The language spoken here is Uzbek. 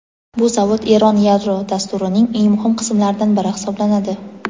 Bu zavod Eron yadro dasturining eng muhim qismlaridan biri hisoblanadi.